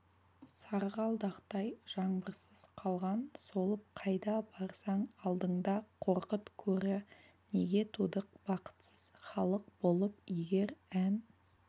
сарғалдақтай жаңбырсыз қалған солып қайда барсаң алдыңда қорқыт көрі неге тудық бақытсыз халық болып егер ән